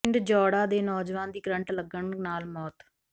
ਪਿੰਡ ਜੌੜਾ ਦੇ ਨੌਜਵਾਨ ਦੀ ਕਰੰਟ ਲੱਗਣ ਨਾਲ ਮੌਤ